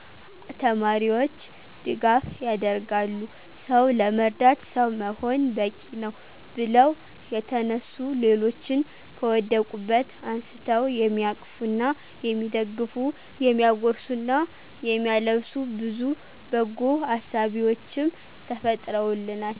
ተማሪዎች ድጋፍ ያደርጋሉ። «ሰው ለመርዳት ሰው መሆን በቂነው» ብለው የተነሱ ሌሎችን ከወደቁበት አንስተው የሚያቅፉና የሚደግፉ፤ የሚያጎርሱና የሚያለብሱ ብዙ በጎ አሳቢዎችም ተፈጥረውልናል።